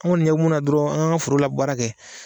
Anw kɔni ɲɛ bɛ munna dɔrɔn an ka ka forola baara kɛ.